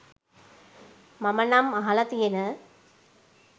මම නම් අහලා තියෙන